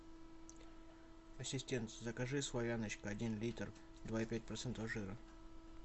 ассистент закажи славяночка один литр два и пять процентов жира